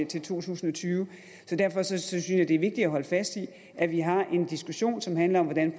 til to tusind og tyve derfor synes synes jeg at det er vigtigt at holde fast i at vi har en diskussion som handler om hvordan